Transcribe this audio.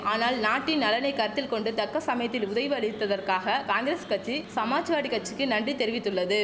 ஆனால் நாட்டின் நலனை கருத்தில் கொண்டு தக்க சமயத்தில் உதைவு அளித்ததற்காக காங்கிரஸ் கச்சி சமாஜ்வாடி கச்சிக்கு நன்றி தெரிவித்துள்ளது